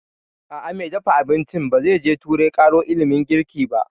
A'a, mai dafa abincin ba zai je turai ƙaro ilimin girki ba